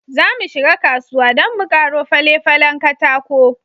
Zamu shiga kasuwa don mu karo fale-falen katako.